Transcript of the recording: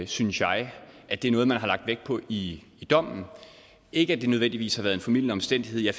synes jeg at det er noget man har lagt vægt på i dommen ikke at det nødvendigvis har været en formildende omstændighed jeg